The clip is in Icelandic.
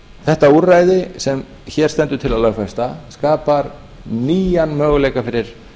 þetta úrræði sem hér stendur til að lögfesta skapar nýjan möguleika fyrir